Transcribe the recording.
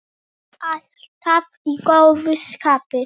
Alltaf í góðu skapi.